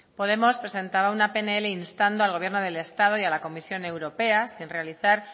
podemos presentar una pnl instando al gobierno del estado y a la comisión europea sin realizar